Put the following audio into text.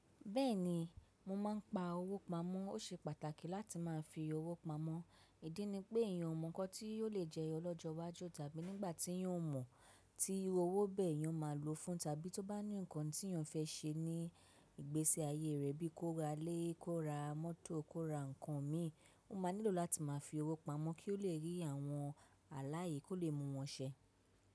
Bẹ́ẹ̀ni, mo máa ń pa owó pamọ́. Ó ṣe pàtàkì láti máa fi owó pamọ́. Ìdí ni pé eyan ò mọ nǹkan tí ò lè jẹyọ lọ́jọ́ iwájú tàbí nígbà tí eyan ò mọ̀ tí owó bẹ́ẹ̀ eyan máa lòó fún tàbí ti ó bá ní nǹkan tí eyan fẹ́ ṣe ní ìgbésí ayé rẹ̀ bíi kó ra ilé, kó ra mọ́tò, kó ra nǹkan mí, ó máa nílò láti máa fi owó pamọ́ kí ó lè rí àwọn àlàyé kó lè mú wọn ṣẹ.